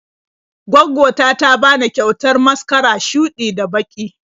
Gwaggo ta ta bani kyautar maskara shuɗi da baƙi.